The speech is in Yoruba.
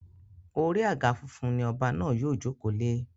Orí àga funfun ni ọba náà yóò jòkó lé.